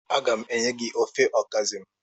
Aga m enye gi ofe okazi m.